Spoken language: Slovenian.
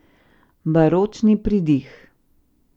Baročni pridih.